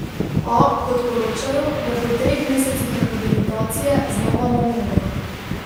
A, kot poročajo, je po treh mesecih rehabilitacije znova na nogah.